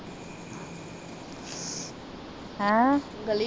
ਹੈਂ? ਗਲੀ ਚ